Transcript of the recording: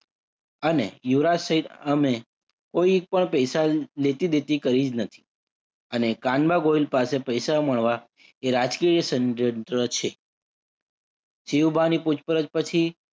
અને યુવરાજ સહીત અમે કોઈ પણ પૈસા લેતી દેતી કરી નથી. અને કાનબા કાનબા ગોહિલ પાસે પૈસા મળવા એ રાજકીય ષડયંત્ર છે. સીહુંબાની પૂછપરછ પછી